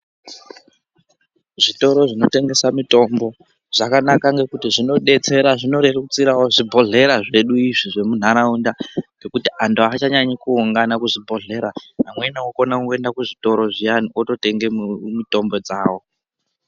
Zvitoro zvinotengesa mitombo zvakanaka ngekuti zvinodetsera zvinorerutsirawo zvibhedhlera zvedu izvii zvemunharaunda ngekuti antu aachanyanyi kuungana kuzvibhedhlera , amweni okona kungoenda kuzvitoro zviyane ototenga mitombo dzavo.